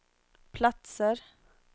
platser